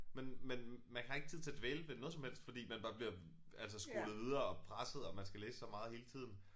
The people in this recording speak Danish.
Men men man har ikke tid til at dvæle ved noget som helst fordi man når der bliver altså skolet videre og presset og man skal læse så meget hele tiden